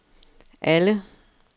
alle